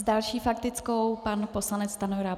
S další faktickou pan poslanec Stanjura.